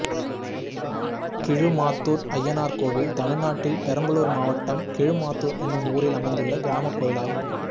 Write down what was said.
கிழுமத்துர் அய்யனார் கோயில் தமிழ்நாட்டில் பெரம்பலூர் மாவட்டம் கிழுமத்துர் என்னும் ஊரில் அமைந்துள்ள கிராமக் கோயிலாகும்